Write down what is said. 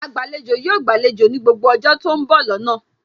Agbàlejò yóò gbàlejò ní gbogbo ọjọ́ tó ń bọ̀ lọ́nà